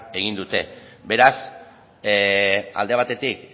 egin dute beraz alde batetik